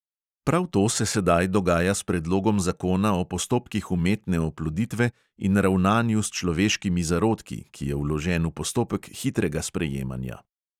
Prav to se sedaj dogaja s predlogom zakona o postopkih umetne oploditve in ravnanju s človeškimi zarodki, ki je vložen v postopek hitrega sprejemanja.